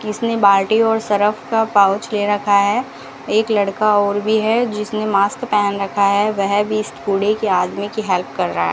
किसने बाल्टी और सरफ का पाउच ले रखा है एक लड़का और भी है जिसने मास्क पहन रखा है वह भी कूड़े के आदमी की हेल्प कर रहा है।